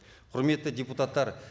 құрметті депутаттар